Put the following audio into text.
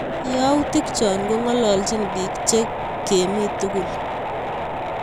Yautik chok kong'ololchin piik che kimi tukul